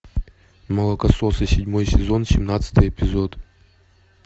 молокососы седьмой сезон семнадцатый эпизод